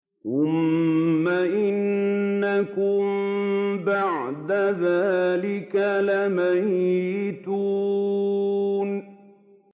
ثُمَّ إِنَّكُم بَعْدَ ذَٰلِكَ لَمَيِّتُونَ